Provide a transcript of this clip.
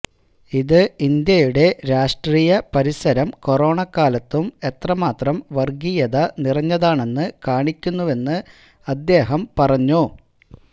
ഇത് ഇന്ത്യയുടെ രാഷ്ട്രീയ പരിസരം കൊറോണ കാലത്തും എത്രമാത്രം വര്ഗീയത നിറഞ്ഞതാണെന്ന് കാണിക്കുന്നുവെന്ന് അദ്ദേഹം പറഞ്ഞു